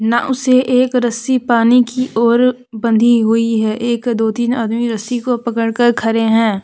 नाव से एक रस्सी पानी की ओर बंधी हुई है एक दो तीन आदमी रस्सी को पड़कर खड़े हैं।